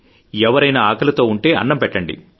ఎవరైనా ఆకలితో ఉంటే అన్నం పెట్టండి